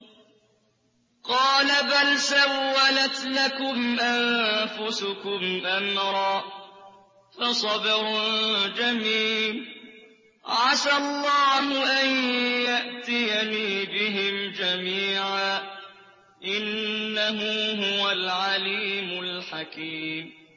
قَالَ بَلْ سَوَّلَتْ لَكُمْ أَنفُسُكُمْ أَمْرًا ۖ فَصَبْرٌ جَمِيلٌ ۖ عَسَى اللَّهُ أَن يَأْتِيَنِي بِهِمْ جَمِيعًا ۚ إِنَّهُ هُوَ الْعَلِيمُ الْحَكِيمُ